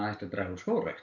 draga úr skógrækt